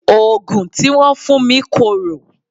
Òògùn tí wọ́n fún mi korò.